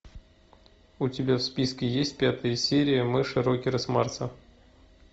у тебя в списке есть пятая серия мыши рокеры с марса